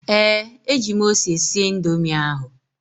ee, eji m ose sie Indomi ahụ